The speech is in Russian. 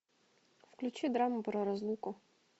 включи драму про разлуку